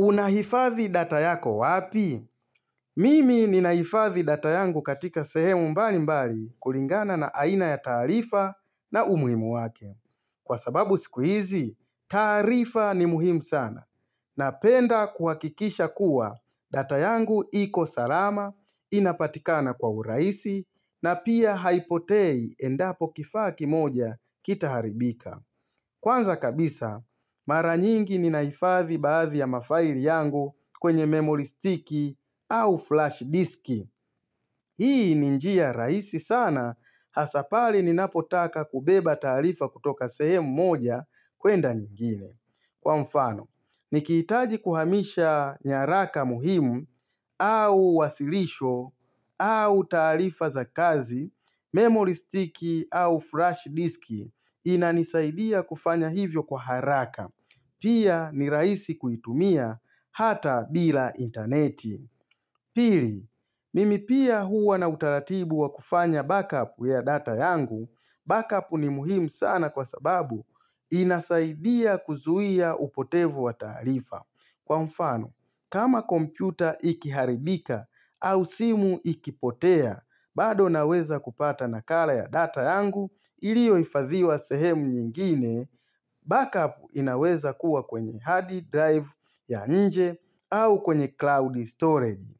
Unahifadhi data yako wapi? Mimi ninaifadhi data yangu katika sehemu mbali mbali kulingana na aina ya taarifa na umuhimu wake Kwa sababu sikuhizi, taarifa ni muhimu sana Napenda kuhakikisha kuwa data yangu iko salama Inapatikana kwa urahisi na pia haipotei endapo kifaa kimoja kita haribika Kwanza kabisa, mara nyingi ninahifadhi baadhi ya mafaili yangu kwenye memory sticky au flash disk. Hii ninjia rahisi sana, hasapale ninapotaka kubeba taarifa kutoka sehemu moja kwenda nyingine. Kwa mfano, nikihitaji kuhamisha nyaraka muhimu au wasilisho au taarifa za kazi, memory sticky au flash disk. Inanisaidia kufanya hivyo kwa haraka Pia ni rahisi kuitumia hata bila interneti Pili, mimi pia huwa na utaratibu wa kufanya backup ya data yangu Backup ni muhimu sana kwa sababu inasaidia kuzuia upotevu wa taarifa Kwa mfano, kama kompyuta ikiharibika au simu ikipotea bado naweza kupata nakala ya data yangu ilioyohifadhiwa sehemu nyingine, backup inaweza kuwa kwenye hard drive ya nje au kwenye cloud storage.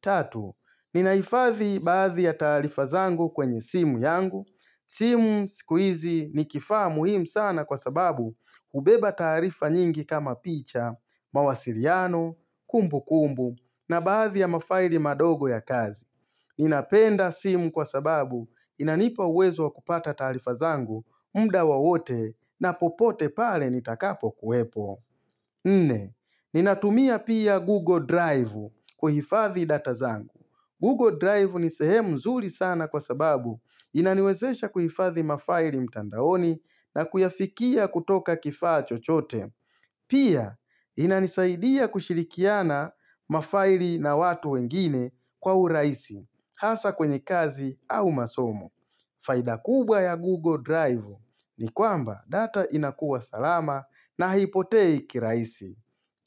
Tatu, ninahifadhi baadhi ya taarifazangu kwenye simu yangu. Simu sikuhizi ni kifaa muhimu sana kwa sababu hubeba taarifa nyingi kama picha, mawasiliano, kumbu kumbu na baadhi ya mafaili madogo ya kazi. Ninapenda simu kwa sababu inanipa uwezo wakupata taarifa zangu muda wawote na popote pale nitakapo kuwepo. Nne, ninatumia pia Google Drive kuhifadhi data zangu. Google Drive nisehemu nzuri sana kwa sababu inaniwezesha kuhifadhi mafaili mtandaoni na kuyafikia kutoka kifaa chochote. Pia, inanisaidia kushirikiana mafaili na watu wengine kwa urahisi. Hasa kwenye kazi au masomo. Faida kubwa ya Google Drive ni kwamba data inakuwa salama na haipotei kirahisi.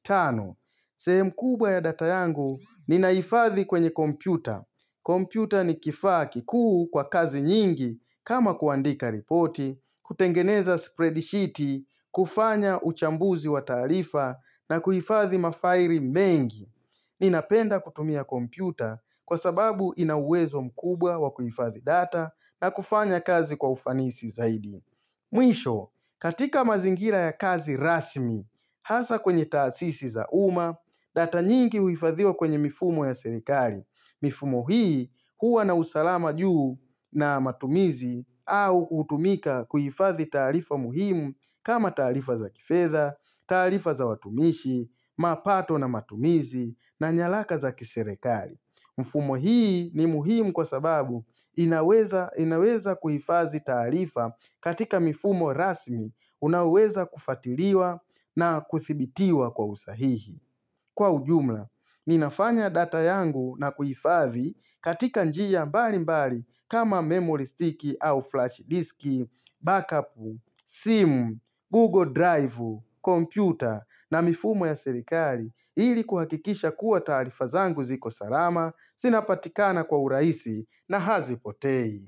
Tano, sehemu kubwa ya data yangu ni naifadhi kwenye kompyuta. Kompyuta ni kifaa kikuu kwa kazi nyingi kama kuandika ripoti, kutengeneza spreadsheet, kufanya uchambuzi wa taarifa na kuhifathi mafaili mengi. Ninapenda kutumia kompyuta kwa sababu ina uwezp mkubwa wa kuhifadhi data na kufanya kazi kwa ufanisi zaidi. Mwisho, katika mazingira ya kazi rasmi, hasa kwenye taasisi za uma, data nyingi uhifadhiwa kwenye mifumo ya serikali. Mifumo hii huwa na usalama juu na matumizi au hutumika kuhifadhi taarifa muhimu kama taarifa za kifedha, taarifa za watumishi, mapato na matumizi na nyalaka za kiserekali. Mfumo hii ni muhimu kwa sababu inaweza kuhifadhi taarifa katika mifumo rasmi unaweza kufuatiliwa na kuthibitiwa kwa usahihi. Kwa ujumla, ninafanya data yangu na kuhifadhi katika njia mbali mbali kama memory stick au flash disk, backup, simu, google drive, computer na mifumo ya serikali ili kuhakikisha kuwa taarifa zangu ziko salama, zinapatikana kwa urahisi na hazipotei.